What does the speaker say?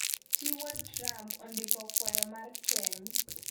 Chi wuod Trump ondiko kwayo mar keny